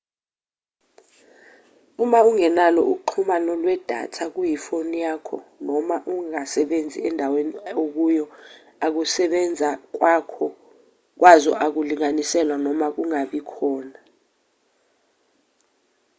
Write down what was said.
uma ungenalo uxhumano lwedatha kuyifoni yakho noma uma ingasebenzi endaweni okuyo ukusebenza kwazo kungalinganiselwa noma kungabi khona